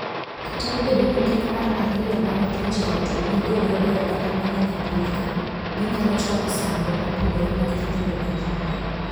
Kata obedo ni keny mar ariyo bang' thoo jaot oyiegodo e oganda mang'eny epinyka, ginyalo chwalo sandruok mopogore mag nyithindo makiye.